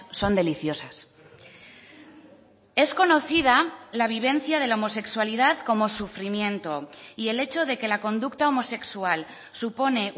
son deliciosas es conocida la vivencia de la homosexualidad como sufrimiento y el hecho de que la conducta homosexual supone